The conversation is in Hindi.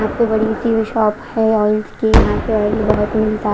सबसे बड़ी सी शॉप है ऑइल्स की यहां पर बहुत मिलता--